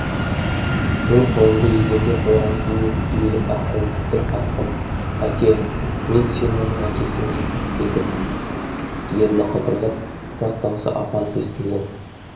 мен қолымды еденге қойған күйі иіліп ақырын тіл қаттым әке мен синоның әкесімін деді ерні қыбырлап бірақ дауысы ап анық естілген